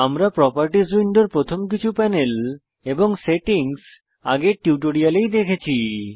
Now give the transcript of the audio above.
আমরা প্রোপার্টিস উইন্ডোর প্রথম কিছু প্যানেল এবং সেটিংস আগের টিউটোরিয়ালেই দেখেছি